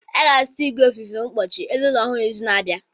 Anyị ga-azụta igwe ofufe mkpuchi elu ụlọ ọhụrụ n'izu na-abịa.